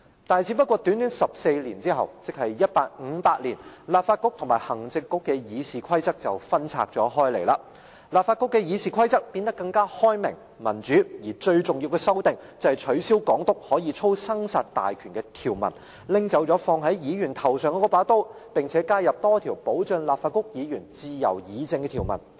但是，只不過短短14年後，即1858年，立法局與行政局的議事規則便分拆了開來，立法局的議事規則變得更開明、民主，而最重要的修訂，便是取消港督可操生殺大權的條文，拿走放在議員頭上的那把刀，並且加入多項保障立法局議員自由議政的條文。